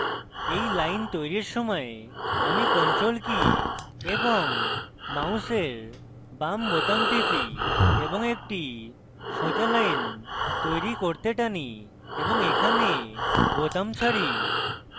এই line তৈরীর সময় আমি ctrl key এবং মাউসের বাম বোতাম টিপি এবং একটি সোজা line তৈরী করতে টানি এবং এখানে বোতাম ছাড়ি